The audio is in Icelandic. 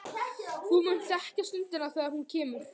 Þú munt þekkja stundina þegar hún kemur.